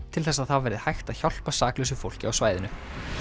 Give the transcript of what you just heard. til þess að það verði hægt að hjálpa saklausu fólki á svæðinu